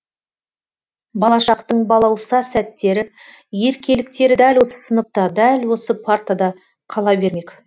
бала шақтың балауса сәттері еркеліктері дәл осы сыныпта дәл осы партада қала бермек